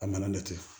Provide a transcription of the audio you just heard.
A nana ne tɛ